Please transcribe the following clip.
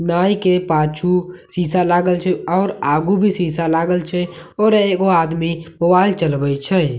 नाई के पाछू शीशा लागल छे और आगू भी शीशा लागल छे आओर एगो आदमी मोबाइल चलबय छै।